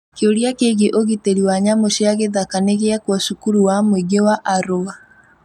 Kĩũria kĩgĩĩ ũgitiri wa nyamu cia gĩthaka nĩ gĩekwo cukuru wa mũĩngi wa Arua .